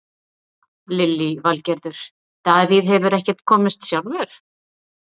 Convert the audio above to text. Lillý Valgerður: Davíð hefur ekkert komist sjálfur?